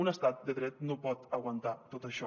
un estat de dret no pot aguantar tot això